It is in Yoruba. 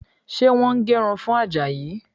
Ṣé wọ́n ń gé irun fún Àjàyí?